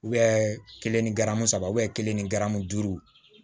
u bɛ kelen ni garamu saba kelen ni garamu duuru